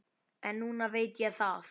En núna veit ég það.